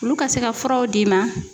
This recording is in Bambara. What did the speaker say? Olu ka se ka furaw d'i ma.